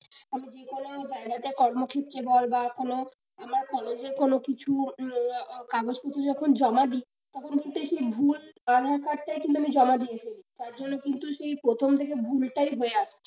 আমি যে কোন বাইরেতে কর্মক্ষেত্রে বল বা কোন আমার কলেজের কোন কিছু কাগজপত্র যখন জমা দিই তখন কিন্তু এই সেই ভুল aadhaar card টাই আমি জমা দিয়ে রেখে দিই তার জন্য কিন্তু সেই প্রথম থেকে ভুলটাই হয়ে আসছে।